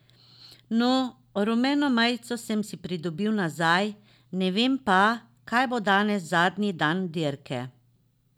No, rumeno majico sem si pridobil nazaj, ne vem pa, kaj bo danes zadnji dan dirke.